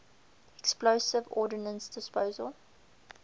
explosive ordnance disposal